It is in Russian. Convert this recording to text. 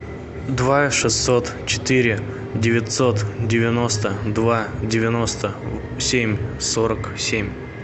два шестьсот четыре девятьсот девяносто два девяносто семь сорок семь